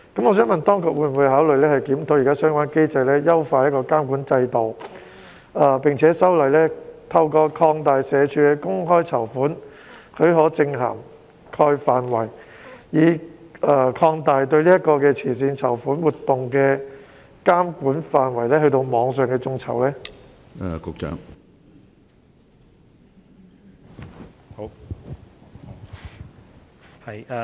我想問，當局會否考慮檢討現行的相關機制，優化監管制度，並且修例，透過社署的"公開籌款許可證涵蓋範圍一般指引"擴大對慈善籌款活動的監管範圍，從而涵蓋網上眾籌？